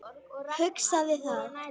Hugsaði það.